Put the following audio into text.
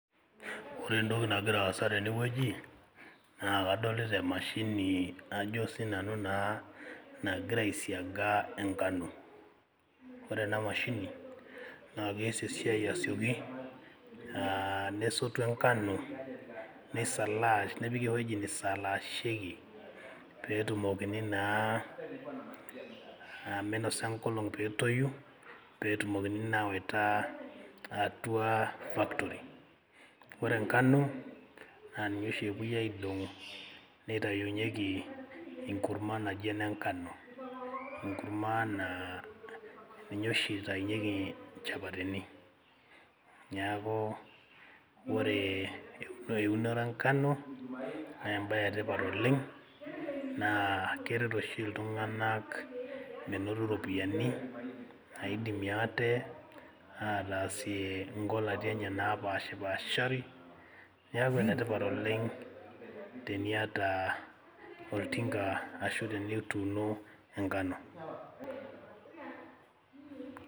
Ore entoki nagira aasa tenewueji naa kadolita emashini ajo sinanu naa nagira aisiaga enkano ore ena mashini naa kees esiai asioki uh nesotu enkano nisalaash nepiki ewueji nisalashieki petumokini naa uh minosa enkolong petoyu petumokini naa awaita atua factory ore enkano naa ninye oshi epuoi aidong'u neitayunyieki enkurma naji enenkano enkurma naa ninye oshi itainyieki inchapatini niaku ore euno eunore enkano nembaye etipat oleng naa keret oshi iltung'anak menoto iropiyiani naidimie ate ataasie inkolati enye napashipashari niaku enetipat oleng teniata oltinka ashu tenituuno enkano.